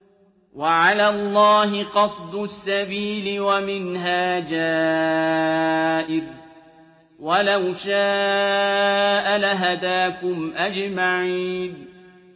وَعَلَى اللَّهِ قَصْدُ السَّبِيلِ وَمِنْهَا جَائِرٌ ۚ وَلَوْ شَاءَ لَهَدَاكُمْ أَجْمَعِينَ